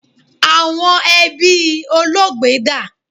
Awọn ẹbi Olóògbé da?